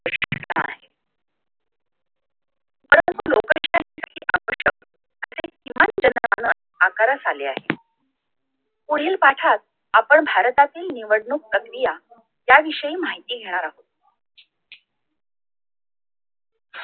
आकारास आले आहे पुढील पाठात आपण भारतातील निवडणूक प्रक्रिया त्याविषयी माहिती घेणार आहोत